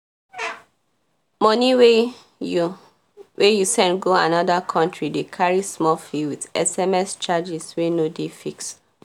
moni wey you wey you send go anoda countri dey carry small fee with sms charges wey no dey fixed